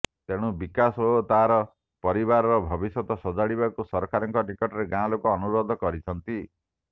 ତେଣୁ ବିକାଶ ଓ ତାର ପରିବାରର ଭବିଷ୍ୟତ ସଜାଡିବାକୁ ସରକାରଙ୍କ ନିକଟରେ ଗାଁ ଲୋକେ ଅନୁରୋଧ କରିଛନ୍ତି